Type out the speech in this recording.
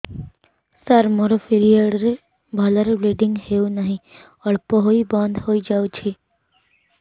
ସାର ମୋର ପିରିଅଡ଼ ରେ ଭଲରେ ବ୍ଲିଡ଼ିଙ୍ଗ ହଉନାହିଁ ଅଳ୍ପ ହୋଇ ବନ୍ଦ ହୋଇଯାଉଛି